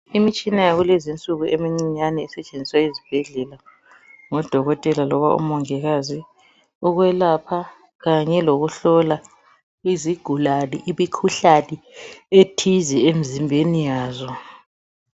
Imitshina yakulezi insuku emincinyane esetshenziswa ezibhedlela ngodokotela loba omongikazi ukwelapha kanye lokuhlola izigulane imikhuhlane ethize emzimbeni yazo.